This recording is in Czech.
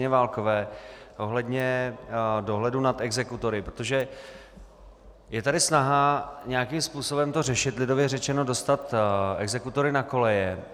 Válkové ohledně dohledu nad exekutory, protože je tady snaha nějakým způsobem to řešit, lidově řečeno dostat exekutory na koleje.